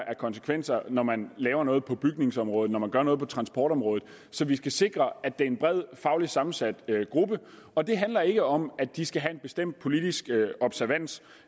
af konsekvenser når man gør noget på bygningsområdet når man gør noget på transportområdet så vi skal sikre at det er en bredt fagligt sammensat gruppe og det handler ikke om at de skal have en bestemt politisk observans